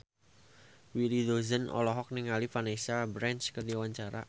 Willy Dozan olohok ningali Vanessa Branch keur diwawancara